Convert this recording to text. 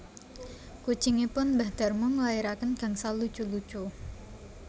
Kucingipun mbah Darmo nglairaken gangsal lucu lucu